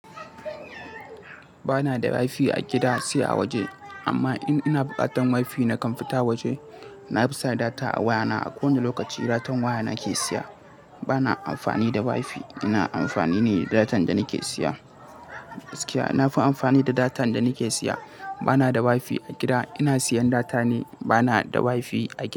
Ba na da WiFi a gida sai a waje amma in ina bukatan WiFi nakan fita waje. Na fi saka data a wayana. A kowane lokaci datan waya nake siya. Ba na amfani da WiFi, ina amfani ne da datan da nake siya. Gaskiya na fi amfani da datan da nake siya. Ba na da WiFi a gida. Ina siyan data ne. Ba na da WiFi a gida.